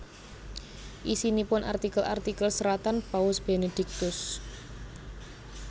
Isinipun artikel artikel seratan Paus Benediktus